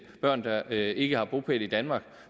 børn der ikke har bopæl i danmark